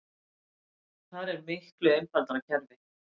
Þar er miklu einfaldara kerfi